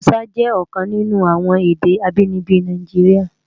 Hàúsá jè òkan ninú awòn èdè ábìníbi Náijiriá